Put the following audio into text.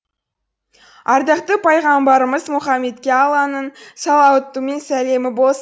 ардақты пайғамбарымыз мұхаммедке алланың салауаты мен сәлемі